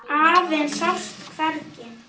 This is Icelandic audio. Afinn sást hvergi.